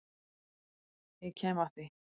Ég kem að því.